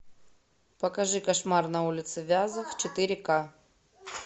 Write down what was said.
покажи кошмар на улице вязов четыре ка